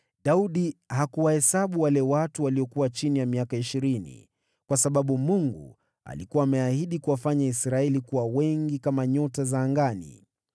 Daudi hakuwahesabu watu waliokuwa chini ya miaka ishirini, kwa sababu Bwana alikuwa ameahidi kuwafanya Israeli kuwa wengi kama nyota za angani.